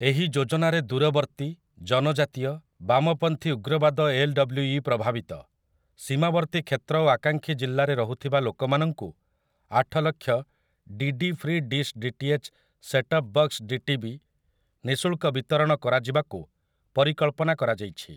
ଏହି ଯୋଜନାରେ ଦୂରବର୍ତ୍ତୀ, ଜନଜାତୀୟ, ବାମପନ୍ଥୀ ଉଗ୍ରବାଦ ଏଲ୍‌.ଡବ୍ଲୁ.ଇ ପ୍ରଭାବିତ, ସୀମାବର୍ତ୍ତୀ କ୍ଷେତ୍ର ଓ ଆକାଂକ୍ଷୀ ଜିଲ୍ଲାରେ ରହୁଥିବା ଲୋକମାନଙ୍କୁ ଆଠ lakh 'DD free dish DTH setup box DTB' ନିଃଶୁଳ୍କ ବିତରଣ କରାଯିବାକୁ ପରିକଳ୍ପନା କରାଯାଇଛି ।